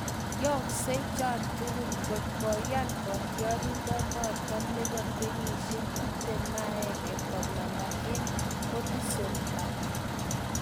Yooksei chon tugul kot koyan kotiorindonoton nepo kenyisiek 21 komanda en Goodison Park.